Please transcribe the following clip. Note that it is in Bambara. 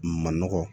Manɔgɔ